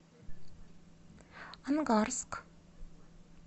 ангарск